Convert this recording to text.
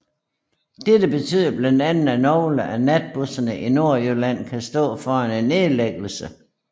Dette betyder blandt andet at nogle af natbusserne i Nordjylland kan står foran en nedlæggelse